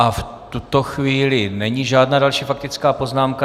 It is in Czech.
A v tuto chvíli není žádná další faktická poznámka.